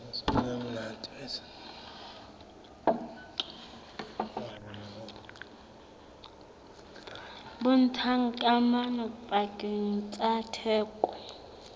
bontshang kamano pakeng tsa theko